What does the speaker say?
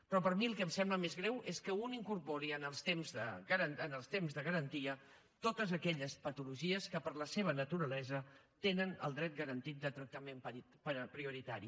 però a mi el que em sembla més greu és que un incorpori en els temps de garantia totes aquelles patologies que per la seva naturalesa tenen el dret garantit de tractament prioritari